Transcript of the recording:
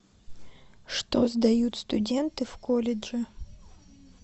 что сдают студенты в колледже